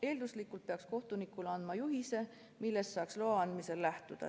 Eelduslikult peaks kohtunikule andma juhise, millest saaks loa andmisel lähtuda.